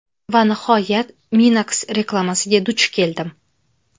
Va nihoyat, Minox reklamasiga duch keldim.